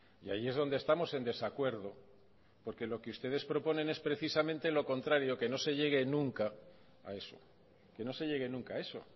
y ahí es donde estamos en desacuerdo porque lo que ustedes proponen es precisamente lo contrario que no se llegue nunca a eso que no se llegue nunca a eso